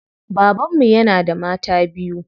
Baban mu yana da mata biyu.